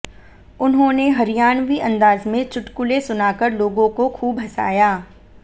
उन्होंने हरियाणवी अंदाज में चुटकुले सुनाकर लोगों को खूब हंसाया